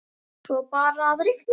Svo er bara að reikna.